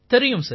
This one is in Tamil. ஆமாம் சார்